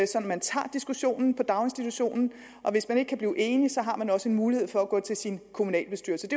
man tager diskussionen i daginstitutionen og hvis man ikke kan blive enige har man også en mulighed for at gå til sin kommunalbestyrelse